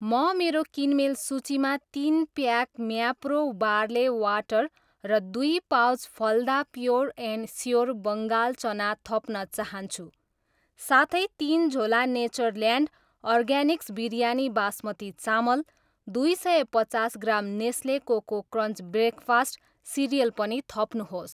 म मेरो किनमेल सूचीमा तिन प्याक म्याप्रो बार्ले वाटर र दुई pouch Phalada pure and sure Bengal चना थप्न चाहन्छु। साथै, तिन झोला नेचरल्यान्ड अर्गानिक्स बिरयानी बासमती चामल, दुई सय पचास gram Nestle Koko Krunch breakfast cereal पनि थप्नुहोस्।